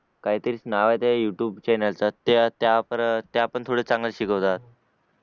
काहीतरीच नाव आहे त्या यूट्यूब चं त्या पण थोड्या चांगल्या शिकवतात